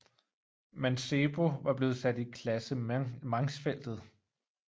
Mancebo var blevet sat i klassementsfeltet